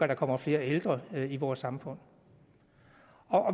der kommer flere ældre i vores samfund